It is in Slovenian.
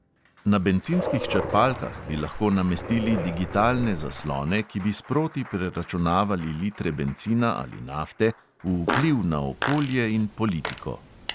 Na bencinskih črpalkah bi lahko namestili digitalne zaslone, ki bi sproti preračunavali litre bencina ali nafte v vpliv na okolje in politiko.